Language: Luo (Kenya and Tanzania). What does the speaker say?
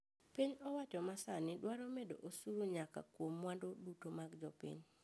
Piny owacho masani dwaro medo osuru nyaka kuom mwandu duto mag jopiny